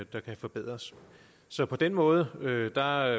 kan forbedres så på den måde ligger der